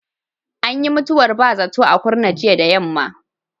Ayyin mutuwar ba zato a Kurna jiya da yammam.